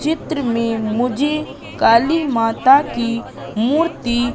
चित्र में मुझे काली माता की मूर्ति--